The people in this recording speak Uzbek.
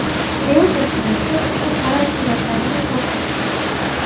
Reuters nashri ushbu parad suratlarini chop etdi.